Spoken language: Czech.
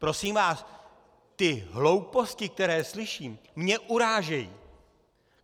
Prosím vás, ty hlouposti, které slyším, mě urážejí!